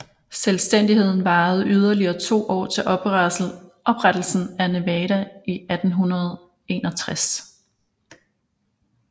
Selvstændigheden varede yderligere to år til oprettelsen af Nevada i 1861